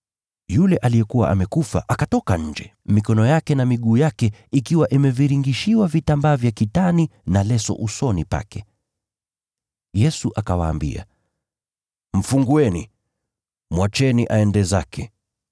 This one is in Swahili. Yule aliyekuwa amekufa akatoka nje, mikono yake na miguu yake ikiwa imeviringishiwa vitambaa vya kitani na leso usoni pake. Yesu akawaambia, “Mfungueni, mwacheni aende zake.”